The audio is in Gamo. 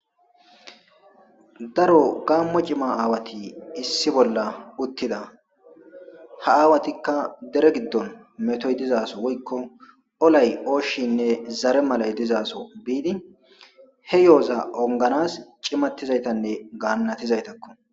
Daro gammo cima aawati issi bolla uttida ha aawatikka dere giddon metoy dizaaso woykko olay ooshinne zare malay dizaaso biidi he yooza onganas cimattizaytanne gaannatizaytakko.